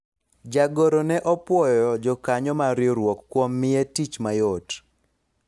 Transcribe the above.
jagoro ne opwoyo jokanyo mar riwruok kuom miye tich mayot